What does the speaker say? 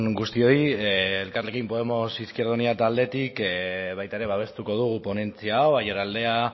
guztioi elkarrekin podemos izquierda unida taldetik baita ere babestuko dugu ponentzia hau aiaraldea